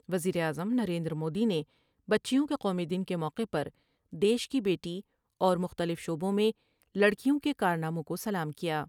وزیراعظم نریندرمودی نے بچیوں کے قومی دن کے موقع پردیش کی بیٹی اور مختلف شعبوں میں لڑکیوں کے کارناموں کو سلام کیا ۔